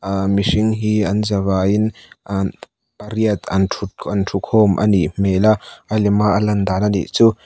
aaa mihring hi an zavaiin pariat an thut an thu khawm a nih hmel a a lem a a lan dan a nih chu.